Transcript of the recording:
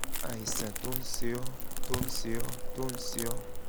àìsàn tó ń ṣe ọ́ tó ń ṣe ọ́ tó ń ṣe ọ́